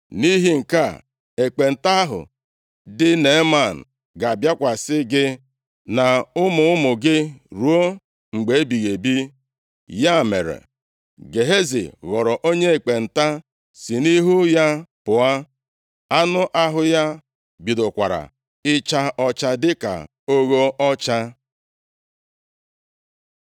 Nʼihi nke a, ekpenta ahụ dị Neeman ga-abịakwasị gị, na ụmụ ụmụ gị, ruo mgbe ebighị ebi.” Ya mere, Gehazi ghọrọ onye ekpenta si nʼihu ya pụọ. Anụ ahụ ya bidokwara ịcha ọcha dịka ogho ọcha.